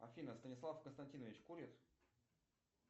афина станислав константинович курит